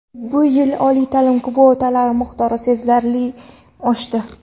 Bu yili oliy ta’lim kvotalari miqdori sezilarli oshdi.